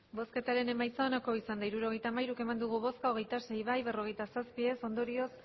hirurogeita hamairu eman dugu bozka hogeita sei bai berrogeita zazpi ez ondorioz